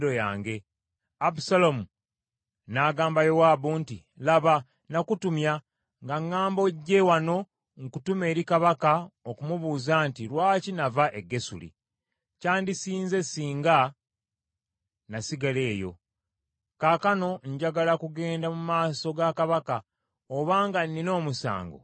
Abusaalomu n’agamba Yowaabu nti, “Laba, nakutumya, nga ŋŋamba ojje wano nkutume eri kabaka okumubuuza nti, ‘Lwaki nava e Gesuli? Kyandisinze singa nasigala eyo.’ Kaakano njagala kugenda mu maaso ga kabaka, obanga nnina omusango, anzite.”